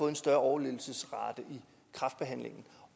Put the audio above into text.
en større overlevelsesrate i kræftbehandlingen